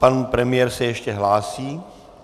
Pan premiér se ještě hlásí.